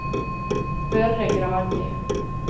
Børre Granli